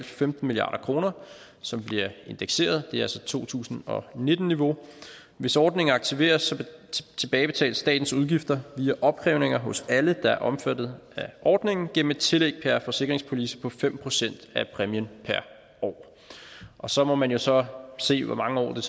femten milliard kr som bliver indekseret det er altså to tusind og nitten niveau hvis ordningen aktiveres tilbagebetales statens udgifter via opkrævninger hos alle der er omfattet af ordningen gennem et tillæg per forsikringspolice på fem procent af præmien per år og så må man jo så se hvor mange år det